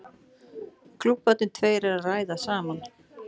Klúbbarnir tveir eru að ræða saman.